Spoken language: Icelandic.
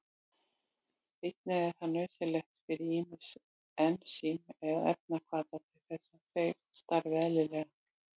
Einnig er það nauðsynlegt fyrir ýmis ensím eða efnahvata til þess að þeir starfi eðlilega.